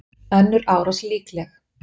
Önnur árás líkleg